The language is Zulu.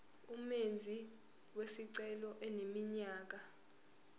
umenzi wesicelo eneminyaka